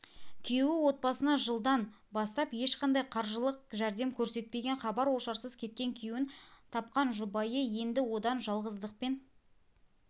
күйеуі отбасына жылдан бастап ешқандай қаржылық жәрдем көрсетпеген хабар-ошарсыз кеткен күйеуін тапқан жұбайы енді одан жалғыздықпен